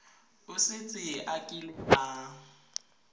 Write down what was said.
o setse a kile a